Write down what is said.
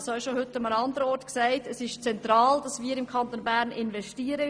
Wie ich heute schon gesagt habe, ist es zentral, dass wir in den Kanton Bern investieren.